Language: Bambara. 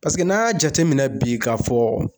Paseke n'an y'a jateminɛ bi ka fɔ